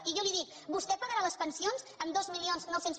i jo li dic vostè pagarà les pensions amb dos mil nou cents